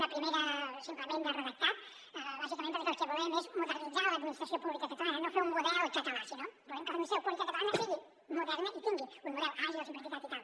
una primera simplement de redactat bàsicament perquè el que volem és modernitzar l’administració pública catalana no fer un model català sinó que volem que l’administració pública catalana sigui moderna i tingui un model àgil simplificat i tal